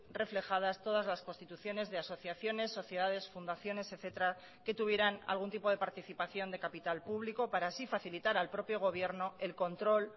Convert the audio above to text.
reflejadas todas las constituciones de asociaciones sociedades fundaciones etcétera que tuvieran algún tipo de participación de capital público para así facilitar al propio gobierno el control